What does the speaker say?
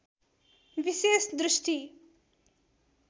विशेष दृष्टि